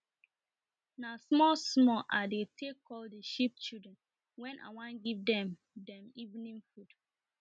na small small i dey take call the sheep children wen i wan give dem dem evening food